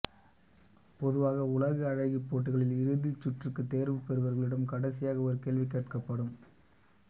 பொதுவாக உலக அழகிப் போட்டிகளில் இறுதிச் சுற்றுக்குத் தேர்வு பெறுபவர்களிடம் கடைசியாக ஒரு கேள்வி கேட்கப்படும்